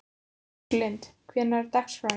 Róslind, hvernig er dagskráin?